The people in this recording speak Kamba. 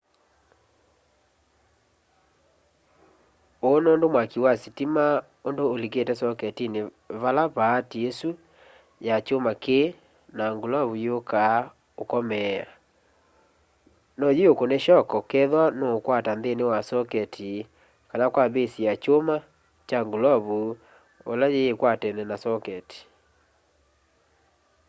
uu nundu mwaki wa sitima undu ulikite soketini vala paati isu ya kyuma yii na ngulovu yukaa ukomeea no yiukune shoko kethwa nuukwata nthini wa soketi kana kwa base ya kyuma kya ngulovu o ila yikwatene na soketi